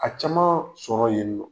A caman sɔrɔ yen nɔn